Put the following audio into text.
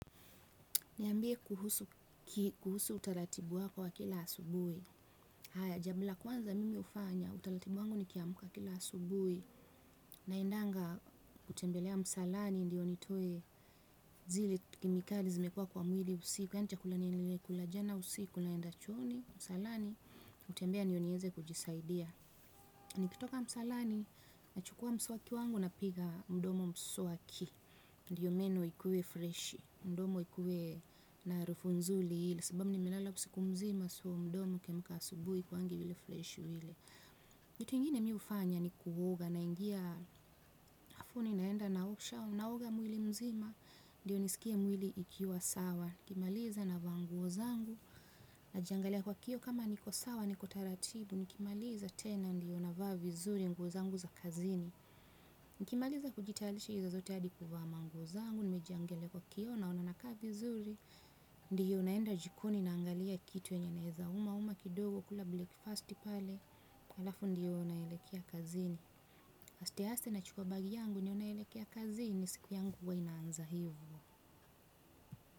Niambie kuhusu utaratibu wako wa kila asubuhi Haya, jambo la kwanza mimi hufanya, utaratibu wangu nikiamka kila asubuhi. Naendanga, kutembelea msalani, ndiyo nitoe, zile kemikali zimekuwa kwa mwili usiku, yaani chakula nimekula jana usiku, naenda chooni, msalani, kutembea ndio nieze kujisaidia. Nikitoka msalani, nachukua mswaki wangu napiga mdomo mswaki. Ndio meno ikuwe freshi mdomo ikuwe na harufu nzuri. Sababu nimelala usiku mzima so mdomo ukiamka asubuhi haikuangi vile freshi vile. Kitu ingine mm hufanya ni kuoga, naingia bafuni naenda naoga mwili mzima ndiyo nisikie mwili ikiwa sawa nikimaliza navaa nguo zangu. Najiangalia kwa kioo kama niko sawa niko taratibu nikimaliza tena ndiyo navaa vizuri nguo zangu za kazini nikimaliza kujitayarisha hizo zote hadi kuvaa manguo zangu nimejiangalia kwa kioo naona nakaa vizuri ndiyo naenda jikoni naangalia kitu enye naeza uma uma kidogo kula breakfast pale alafu ndiyo naelekea kazini aste aste nachukua bagi yangu ni hiyo naelekea kazini siku yangu huwa inaanza hivyo.